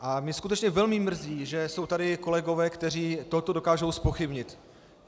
A mě skutečně velmi mrzí, že jsou tady kolegové, kteří tohleto dokážou zpochybnit.